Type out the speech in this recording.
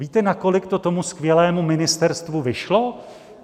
Víte, na kolik to tomu skvělému ministerstvu vyšlo?